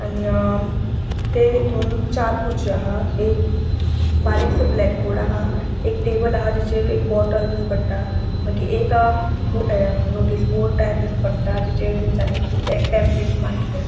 आणि अ तेतु चार खुर्रच्यो हा एक बारीकसो ब्लॅक बोर्ड हा एक टेबल हा जेचेर बोटल दिस पट्टा मागिर एक अ नोटिस बॉर्ड दिस पट्टा जेचेर तेन्चानी किते पॅम्पलेट्स मारिल्ले हा.